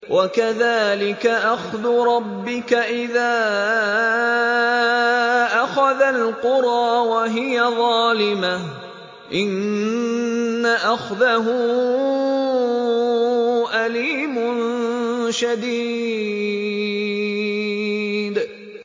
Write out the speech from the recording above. وَكَذَٰلِكَ أَخْذُ رَبِّكَ إِذَا أَخَذَ الْقُرَىٰ وَهِيَ ظَالِمَةٌ ۚ إِنَّ أَخْذَهُ أَلِيمٌ شَدِيدٌ